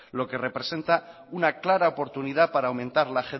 lo que representa una clara oportunidad para aumentar la